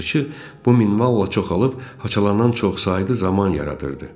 Yazıçı bu minvalla çoxalıb, haçalanan çoxsaylı zaman yaradırdı.